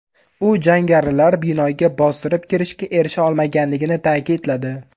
U jangarilar binoga bostirib kirishga erisha olmaganligini ta’kidladi.